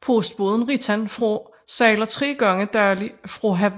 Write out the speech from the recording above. Postbåden Ritan fra sejler tre gange daglig fra